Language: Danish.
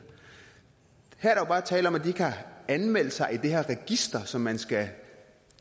her er der jo bare tale om at de ikke har anmeldt sig i det her register som man skal